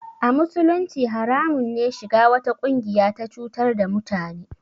A musulunci haramun ne shiga wata ƙungiya ta cutar da mutane